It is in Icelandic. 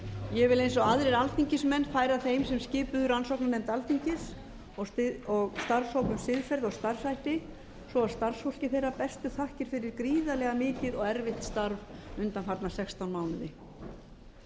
ég vil eins og aðrir alþingismenn færa þeim sem skipuðu rannsóknarnefnd alþingis og starfshóp um siðferði og starfshætti svo og starfsfólki þeirra bestu þakkir fyrir gríðarlega mikið og erfitt starf undanfarna sextán mánuði